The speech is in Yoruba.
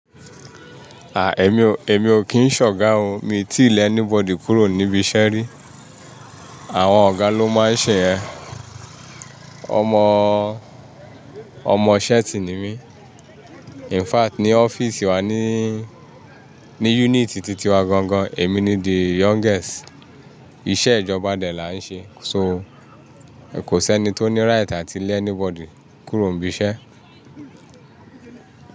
À, èmi-èmi ò kí ń ṣọ̀ga oo, mi ti lẹ anybody kúrò níbi iṣẹ́ rí. Àwọn ọ̀gá ló máa ń ṣe yén. Ọmọ-ọmọ sẹ́ẹ̀ tì ni mí. In fact ní ọ́fíìsì wa níí, ní yúnìtì titi wa gangan, èmi ni the youngest. Iṣẹ́ ìjọba dẹ̀ la ń ṣe. So kò sẹ́ni tó ní ríìtì láti lẹ anybody kúrò nibi iṣẹ́